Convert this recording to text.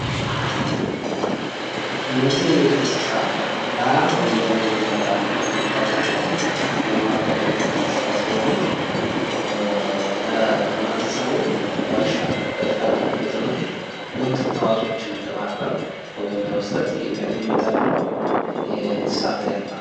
እነዚህ የቤት እንስሳ ላም ወይም በሬ በመባል የሚታወቁ ለማዳ የቤት እንስሳ ሲሆኑ ለህብረተሰቡ ለእርሻ አገልግሎትና የወተት ተዋፅዖዎችን ለማቅረብ ወይም ለመስጠት የሚጠቅሙ የእስሳት አይነት ናቸው።